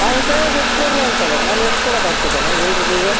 ಅವನ ಕೈ ಯಾಗೆ ಎತ್ಕೊಡ್ರಿ ಅಂತಾರೆ ನಾನು ಎತ್ಕೊಡಕೆ ಆಗ್ತದ ಅಣ್ಣ ಏಳ್ರಿ ನೀವೇ